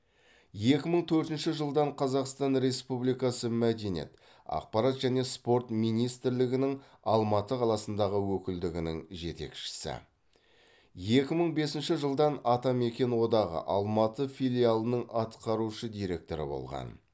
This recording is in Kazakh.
екі мың төртінші жылдан қазақстан республикасы мәдениет ақпарат және спорт министрлігінің алматы қаласындағы өкілдігінің жетекшісі екі мың бесінші жылдан атамекен одағы алматы филиалының атқарушы директоры болған